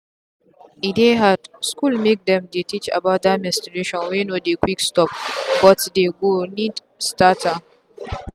e dey hard school make them they teach about that menstruation wey no dey quick stopbut dey go need start am.